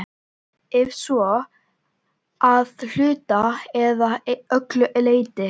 Ef svo, að hluta eða öllu leyti?